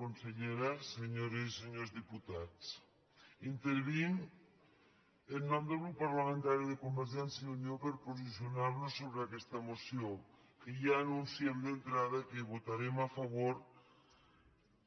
consellera senyores i senyors diputats intervinc en nom del grup parla·mentari de convergència i unió per posicionar·nos so·bre aquesta moció que ja anunciem d’entrada que vo·tarem a favor